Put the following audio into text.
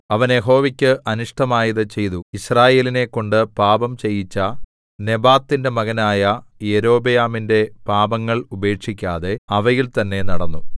അവൻ യഹോവയ്ക്ക് അനിഷ്ടമായത് ചെയ്തു യിസ്രായേലിനെക്കൊണ്ട് പാപം ചെയ്യിച്ച നെബാത്തിന്റെ മകനായ യൊരോബെയാമിന്റെ പാപങ്ങൾ ഉപേക്ഷിക്കാതെ അവയിൽ തന്നേ നടന്നു